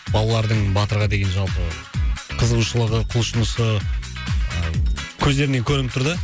балалардың батырға деген жалпы қызығушылығы құлшынысы ы көздерінен көрініп тұр да